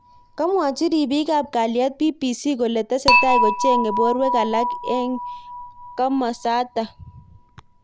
Kamwochi ribik ab kaliet BBC kole tesetai kochengei borwek alak eng kimosatak.